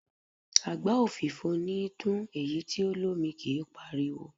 Àgbá òfìfo níí dún, èyí tí o lómi kí páriwo.